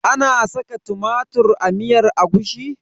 Ana saka tumatir a miyar agushi?